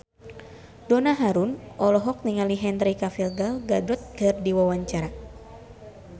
Donna Harun olohok ningali Henry Cavill Gal Gadot keur diwawancara